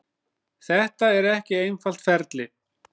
Þetta er ekki einfalt ferli.